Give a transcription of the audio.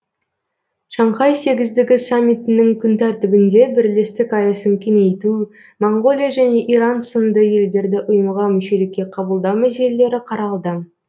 шанхай сегіздігі саммитінің күн тәртібінде бірлестік аясын кеңейту моңғолия және иран сынды елдерді ұйымға мүшелікке қабылдау мәселелері қаралды